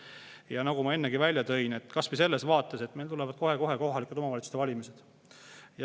Ja nagu ma ennegi välja tõin, kas või selles vaates, et meil tulevad kohe-kohe kohalike omavalitsuste valimised.